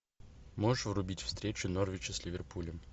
можешь врубить встречу норвича с ливерпулем